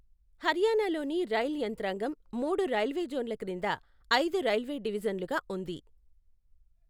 హర్యానాలోని రైల్ యంత్రాంగం మూడు రైల్వే జోన్ల క్రింద ఐదు రైల్వే డివిజన్లుగా ఉంది.